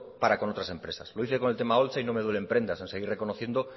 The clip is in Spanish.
para con otras empresas lo hice con el tema holtza y no me duelen prendas en seguir reconociendo